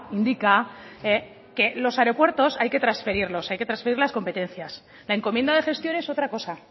indica que los aeropuertos hay que transferirlos hay que transferir las competencias la encomienda de gestión es otra cosa